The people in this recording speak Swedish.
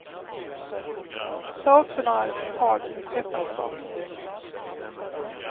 Ta också några tag med pepparkvarnen.